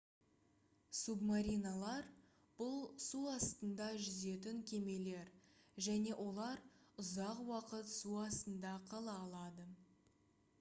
субмариналар бұл су астында жүзетін кемелер және олар ұзақ уақыт су астында қала алады